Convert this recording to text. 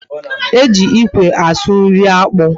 E ji ikwe asụ nri akpu